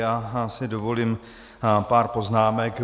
Já si dovolím pár poznámek.